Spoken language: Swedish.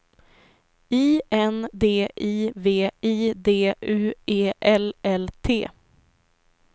I N D I V I D U E L L T